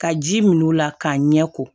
Ka ji min o la k'a ɲɛ ko